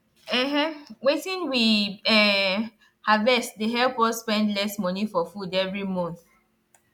um wetin we um harvest dey help us spend less money for food every month